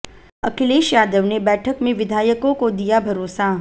अखिलेश यादव ने बैठक में विधायकों को दिया भरोसा